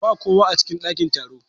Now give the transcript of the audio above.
Ba kowa a cikin ɗakin taro.